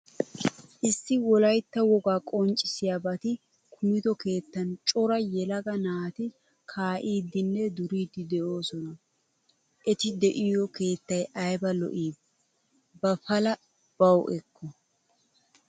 Issi wolaytta wogaa qonccisiyaabati kumido keettan cora yelaga naati ka'idinne duridi deososona. Etti de'iyo keettay ayba lo'i Ba palaa bawu ekko.